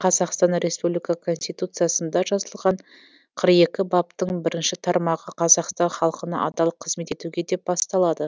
қазақстан республика конституциясында жазылған қырық екі баптың бірінші тармағы қазақстан халқына адал қызмет етуге деп басталады